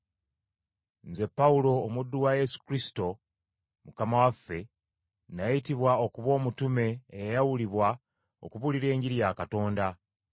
Nze Pawulo, omuddu wa Yesu Kristo, Mukama waffe Kristo, nayitibwa okuba omutume, eyayawulibwa okubuulira Enjiri ya Katonda,